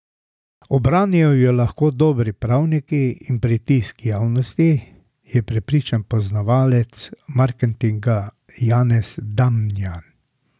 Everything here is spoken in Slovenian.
Obranijo jo lahko dobri pravniki in pritisk javnosti, je prepričan poznavalec marketinga Janez Damjan.